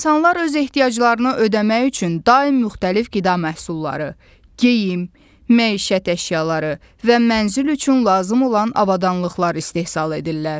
İnsanlar öz ehtiyaclarını ödəmək üçün daim müxtəlif qida məhsulları, geyim, məişət əşyaları və mənzil üçün lazım olan avadanlıqlar istehsal edirlər.